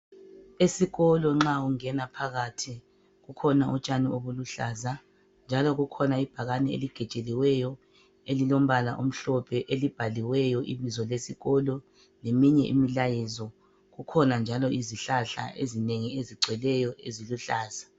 Esikolo nxa ungena phakathi kukhona utshani obuluhlaza njalo kukhona ibhakane eligejeliweyo elilombala omhlophe elibhaliweyo ibizo lesikolo leminye imilayezo. Kukhona njalo izihlahla ezinengi ezigcweleyo eziluhlaza.